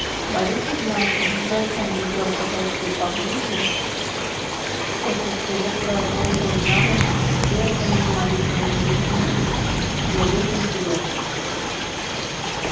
борис игнатьевич жестом велел подойти поближе после чего продолжил явно прерванную моим появлением речь не в их интересах